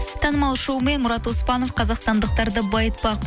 танымал шоумен мурат оспанов қазақстандықтарды байытпақ